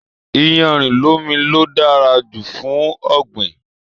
Iyanrin lomi lo dára jù fún ọ̀gbìn.